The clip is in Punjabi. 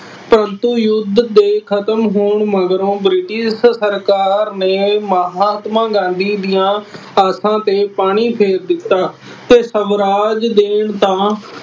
ਪਰੰਤੂ ਯੁੱਧ ਦੇ ਖਤਮ ਹੋਣ ਮਗਰੋਂ ਬ੍ਰਿਟਿਸ਼ ਸਰਕਾਰ ਨੇ ਮਹਾਤਮਾ ਗਾਂਧੀ ਦੀਆਂ ਆਸਾਂ ਤੇ ਪਾਣੀ ਫੇਰ ਦਿੱਤਾ ਅਤੇ ਸਵਰਾਜ ਦੇਣ ਤਾਂ